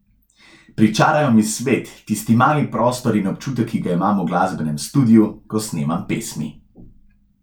Pričarajo mi svet, tisti mali prostor in občutek, ki ga imam v glasbenem studiu, ko snemam pesmi.